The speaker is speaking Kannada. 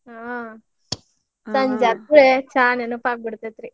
ಹಾ ಸಂಜೆ ಅದ್ ಚಾ ನೆನಪಾಗ್ ಬಿಡ್ತೇತ್ರಿ.